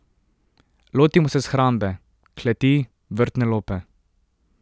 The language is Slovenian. Lotimo se shrambe, kleti, vrtne lope ...